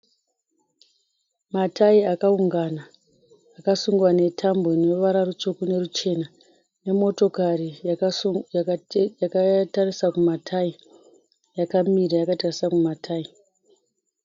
Matai akaungana akasungwa netambo ine ruvara rutsvuku neruchena, nemotokari yakatarisa kumatai, yakamira yakatarisa kumatai.